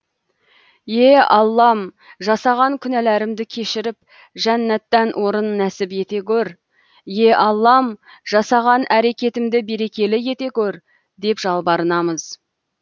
е аллам жасаған күнәларымды кешіріп жәннаттан орын нәсіп ете көр е аллам жасаған әрекетімді берекелі ете көр деп жалбарынамыз